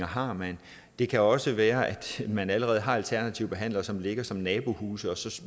har men det kan også være at man allerede har alternative behandlere som ligger som nabohuse og så